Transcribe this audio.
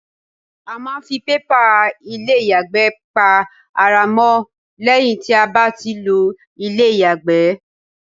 A máa ń ń fi pépà ilé ìyàgbẹ́ pa ara mọ́ lẹ́yìn tí a bá ti lo ilé ìyàgbẹ́.